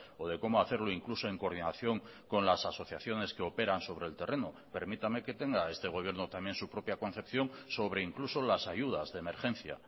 o de cómo hacerlo incluso en coordinación con las asociaciones que operan sobre el terreno permítame que tenga este gobierno también su propia concepción sobre incluso las ayudas de emergencia